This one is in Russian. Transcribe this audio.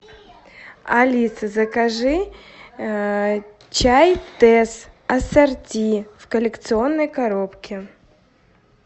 алиса закажи чай тесс ассорти в коллекционной коробке